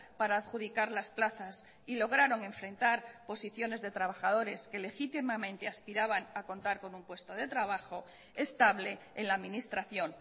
para adjudicar las plazas y lograron enfrentar posiciones de trabajadores que legítimamente aspiraban a contar con un puesto de trabajo estable en la administración